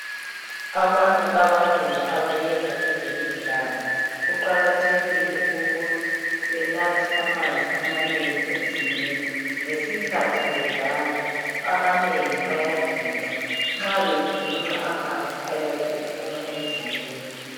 Abantu abanengi abeyenza ezemidlalo kuqakathekile ukuthi benathe amanzi amanengi emzimbeni ngesikhathi bedlala ,abanengi bayaginqa nxa beginqa amanzi ayabe ephuma emzimbeni.